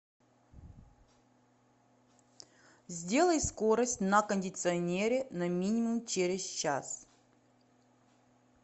сделай скорость на кондиционере на минимум через час